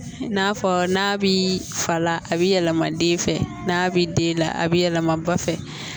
N'a fɔ n'a bi fala a bi yɛlɛma den fɛ n'a bi den la a bi yɛlɛma ba fɛ